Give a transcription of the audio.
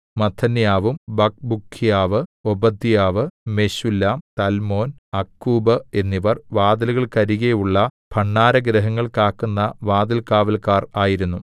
മത്ഥന്യാവും ബക്ക്ബൂക്ക്യാവ് ഓബദ്യാവ് മെശുല്ലാം തല്മോൻ അക്കൂബ് എന്നിവർ വാതിലുകൾക്കരികെയുള്ള ഭണ്ഡാരഗൃഹങ്ങൾ കാക്കുന്ന വാതിൽകാവല്ക്കാർ ആയിരുന്നു